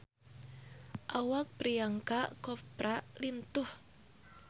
Awak Priyanka Chopra lintuh